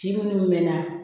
Ci minnu mɛnna